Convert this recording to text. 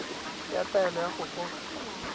ya taelo ya go goga